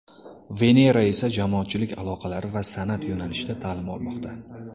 Venera esa jamoatchilik aloqalari va san’at yo‘nalishida ta’lim olmoqda.